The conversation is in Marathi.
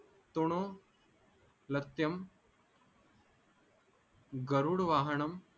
तुणो लत्याम गरुड वाहणम